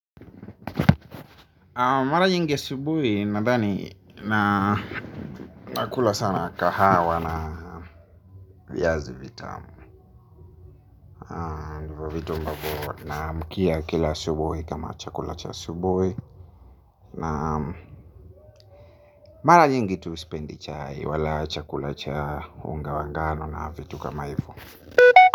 Mara nyingi asubuhi nadani na nakula sana kahawa na viazi vitamu. Naamkia kila asubuhi kama chakula cha asubuhi. Na mara nyingi tu sipendi chai wala chakula cha unga wa ngano na vitu kama hivo.